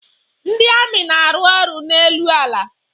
Ndị amị na-arụ ọrụ n'elu ala.